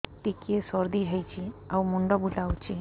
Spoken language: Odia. ଟିକିଏ ସର୍ଦ୍ଦି ହେଇଚି ଆଉ ମୁଣ୍ଡ ବୁଲାଉଛି